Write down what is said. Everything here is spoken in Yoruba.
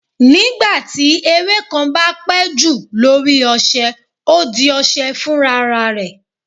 nígbà tí ewe kan ba pé ju lori ọṣẹ, o di ọṣẹ funrararẹ.